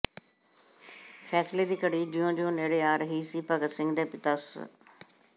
ਫ਼ੈਸਲੇ ਦੀ ਘੜੀ ਜਿਉਂ ਜਿਉਂ ਨੇੜੇ ਆ ਰਹੀ ਸੀ ਭਗਤ ਸਿੰਘ ਦੇ ਪਿਤਾ ਸ